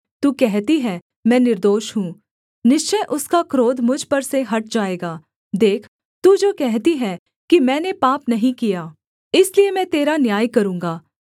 तू कहती है मैं निर्दोष हूँ निश्चय उसका क्रोध मुझ पर से हट जाएगा देख तू जो कहती है कि मैंने पाप नहीं किया इसलिए मैं तेरा न्याय करूँगा